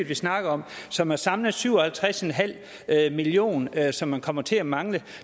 vi snakker om som er samlet set syv og halvtreds million kr som kommer til at mangle